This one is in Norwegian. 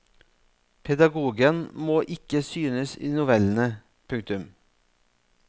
Pedagogen må ikke synes i novellene. punktum